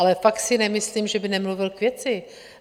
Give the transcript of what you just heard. Ale fakt si nemyslím, že by nemluvil k věci.